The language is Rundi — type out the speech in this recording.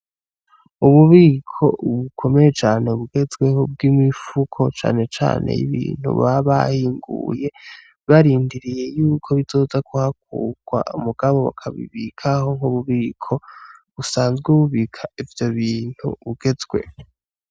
Ububiko bukomeye cane bugezweho bwimifuko cane cane yibintu baba bahinguye barindiriye yuko bizoza kuhakurwa mugabo bakabibikaho nkububiko busanzwe bubika ivyo bintu bugezweho.